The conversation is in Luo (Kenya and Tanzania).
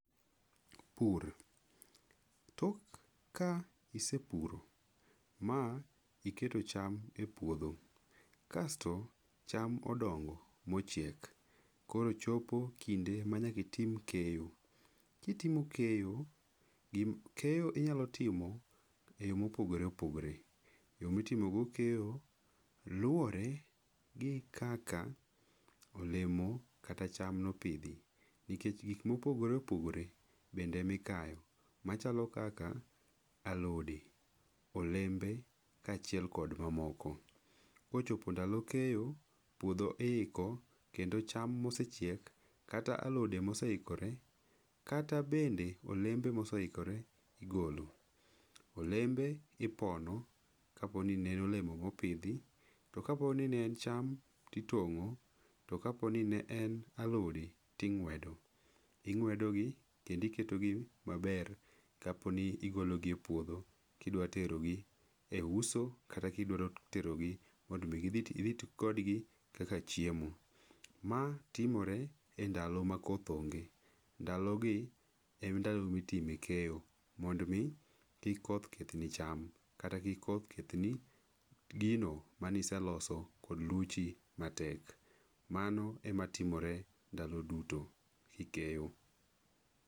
Pur. Tok ka isepuro ma iketo cham epuodho, kasto cham odongo mochiek, koro chopo kinde manya kitim keyo. Kitimo keyo, gi, keyo inyalo timo eyo mopogore opogore. Joma itimogo keyo luwore gi kaka olemo kata cham nopidhi, nikech gik mopogore opogore bende mikayo, machalo kaka alodi, olembe, kachiel kod mamoko. Kochopo ndalo keyo puodho iiko kendo cham mosechiek kata alode moseikore kata bende olembe moseikore igolo. Olembe ipono kapo ni ne en olemo mopidhi. To kapo ni ne en cham titongo, to kapo ni ne en alodi ting'wedo. Ing'wedogi kendo iketogi maber kapo ni igologi e puodho kidwa terogi, e uso, kata kidwaro terogi, mondo idhi iti kodgi kaka chiemo. Ma timore e ndalo makoth onge. Ndalogi en ndalo mitime keyo, mond mi kik koth kethni cham. Kata kik koth kethni gino manise loso kod luchi matek. Mano ema timore ndalo duto, kikeyo.